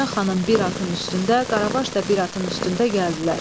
Dünya xanım bir atın üstündə, Qaravaş da bir atın üstündə gəldilər.